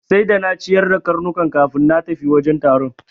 Sai da na ciyar da karnukan kafin na tafi wajen taron.